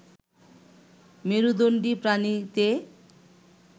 মেরুদণ্ডী প্রাণীতে